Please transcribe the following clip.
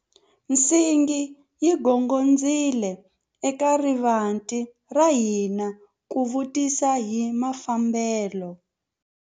Nsingi yi gongondzile eka rivanti ra hina ku vutisa hi mafambelo.